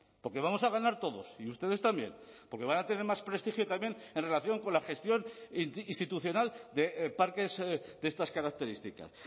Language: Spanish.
porque vamos a ganar todos y ustedes también porque van a tener más prestigio también en relación con la gestión institucional de parques de estas características